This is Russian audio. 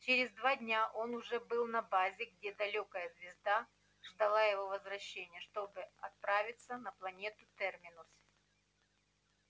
через два дня он уже был на базе где далёкая звезда ждала его возвращения чтобы отправиться на планету терминус